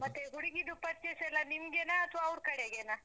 ಮತ್ತೇ ಹುಡ್ಗಿದು purchase ಎಲ್ಲ ನಿಮ್ಗೆನಾ, ಅತ್ವಾ ಅವ್ರ್ ಕಡೆಗೆನಾ?